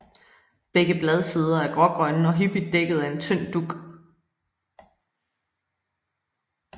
Begge bladsider er grågrønne og hyppigt dækket af en tynd dug